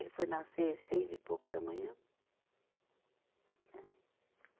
Ele foi nascer seis e pouco da manhã. Né.